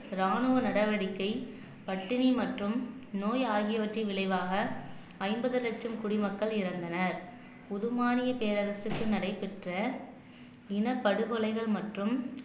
ராணுவ நடவடிக்கை பட்டினி மற்றும் நோய் ஆகியவற்றின் விளைவாக ஐம்பது லட்சம் குடிமக்கள் இறந்தனர் புது மாநில பேரரசுக்கு நடைபெற்ற இனப் படுகொலைகள் மற்றும்